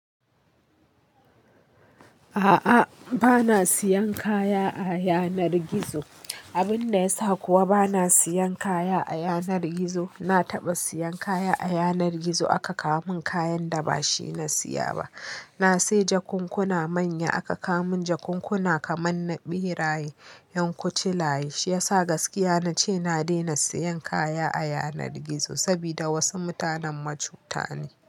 A'a, ba na siyan kaya a yanar gizo. Abin da ya sa kuwa ba na siyan kaya a yanar gizo, na taɓa siyan kaya a yanar gizo aka kawo mun kayan da ba shi na siya ba. Na sayi jakunkuna manya aka kawo mun jakunkuna kaman na ɓeraye, 'yan kucilaye. Shi ya sa gaskiya na ce na daina siyan kaya a yanar gizo. Sabida wasu mutanen macu ta ne.